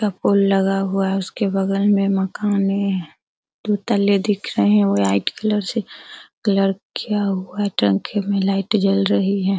एक पोल लगा हुआ है उसके बगल में कलर से कलर किया हुआ है लाइट जल रही है।